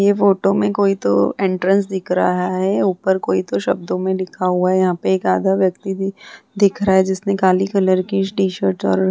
ये फोटो में कोई तो एंट्रेंस दिख रहा है ऊपर कोई तो शब्दों में लिखा हुआ है यहाँ पे एक आधा व्यक्ति भी दिख रहा है जिसने काली कलर की टी-शर्ट और --